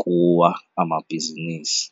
kuwa amabhizinisi.